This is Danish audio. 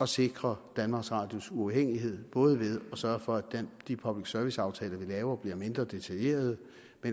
sikre danmarks radios uafhængighed både ved at sørge for at de public service aftaler vi laver bliver mindre detaljerede